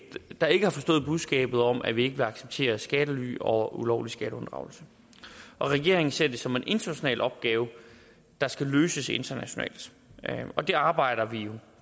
der ikke har forstået budskabet om at vi ikke vil acceptere skattely og ulovlig skatteunddragelse regeringen ser det som en international opgave der skal løses internationalt og det arbejder vi